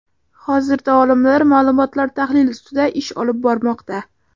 Hozirda olimlar ma’lumotlar tahlili ustida ish olib bormoqda.